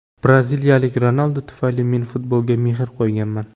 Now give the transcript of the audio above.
Braziliyalik Ronaldo tufayli men futbolga mehr qo‘yganman.